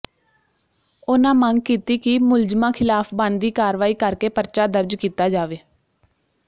ਉਨਾਂ ਮੰਗ ਕੀਤੀ ਕਿ ਮੁਲਜ਼ਮਾਂ ਖਿਲਾਫ ਬਣਦੀ ਕਾਰਵਾਈ ਕਰਕੇ ਪਰਚਾ ਦਰਜ ਕੀਤਾ ਜਾਵੇ